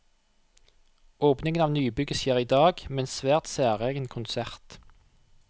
Åpningen av nybygget skjer i dag, med en svært særegen konsert.